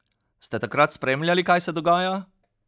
Ste takrat spremljali, kaj se dogaja?